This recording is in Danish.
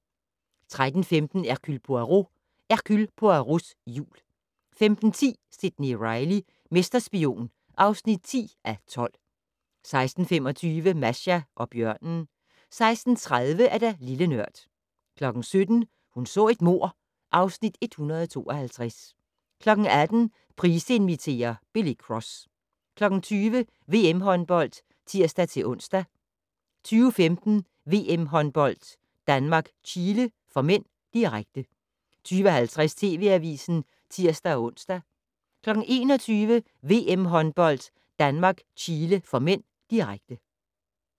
13:15: Hercule Poirot: Hercule Poirots jul 15:10: Sidney Reilly - mesterspion (10:12) 16:25: Masha og bjørnen 16:30: Lille Nørd 17:00: Hun så et mord (Afs. 152) 18:00: Price inviterer - Billy Cross 20:00: VM håndbold (tir-ons) 20:15: VM håndbold: Danmark-Chile (m), direkte 20:50: TV Avisen (tir-ons) 21:00: VM håndbold: Danmark-Chile (m), direkte